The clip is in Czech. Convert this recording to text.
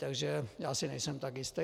Takže já si nejsem tak jistý.